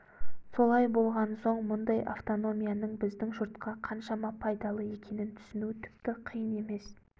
солай болған соң мұндай автономияның біздің жұртқа қаншама пайдалы екенін түсіну тіпті қиын емес